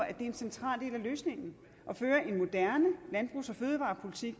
er en central del af løsningen at føre en moderne landbrugs og fødevarepolitik